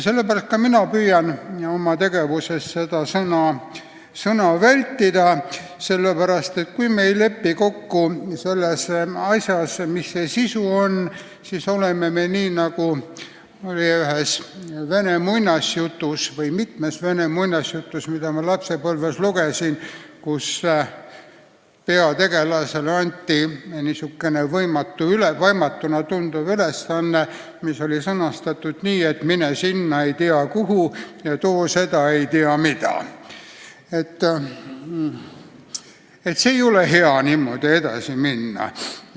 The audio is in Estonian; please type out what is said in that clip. Mina püüan seda sõna vältida, sest kui me ei lepi kokku selles, mis see sisu on, siis on nii, nagu oli vene muinasjutus, mida ma lapsepõlves lugesin, kus peategelasele anti võimatuna tunduv ülesanne, mis oli sõnastatud nii, et mine sinna, ei tea kuhu, ja too seda, ei tea mida.